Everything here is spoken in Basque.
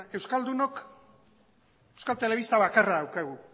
euskaldunok euskal telebista bakarra daukagu